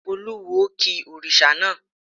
Olúwo ki òrìṣà náà.